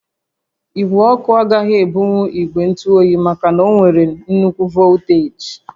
Igwe ọkụ agaghị ebunwu ígwè ntụ óyi maka na ọ nwere nnukwu volteeji